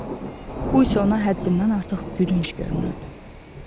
Bu isə ona həddindən artıq gülünc görünürdü.